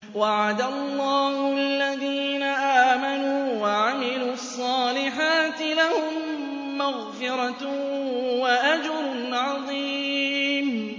وَعَدَ اللَّهُ الَّذِينَ آمَنُوا وَعَمِلُوا الصَّالِحَاتِ ۙ لَهُم مَّغْفِرَةٌ وَأَجْرٌ عَظِيمٌ